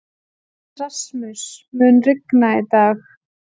Rasmus, mun rigna í dag?